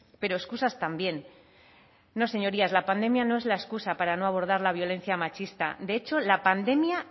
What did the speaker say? pero excusas también no señorías la pandemia no es la excusa para no abordar la violencia machista de hecho la pandemia